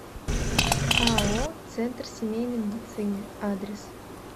ао центр семейной медицины адрес